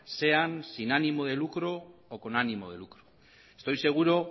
sean sin ánimo de lucro o con ánimo de lucro estoy seguro